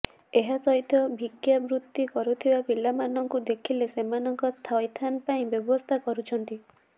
ଏହା ସହିତ ଭିକ୍ଷା ବୃତ୍ତି କରୁଥିବା ପିଲାମାନଙ୍କୁ ଦେଖିଲେ ସେମାନଙ୍କ ଥଇଥାନ ପାଇଁ ବ୍ୟବସ୍ଥା କରୁଛନ୍ତି